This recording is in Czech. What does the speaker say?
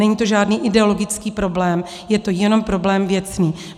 Není to žádný ideologický problém, je to jenom problém věcný.